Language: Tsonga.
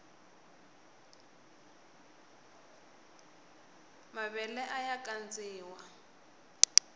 mavele aya kandziwa